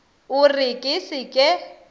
o re ke se ke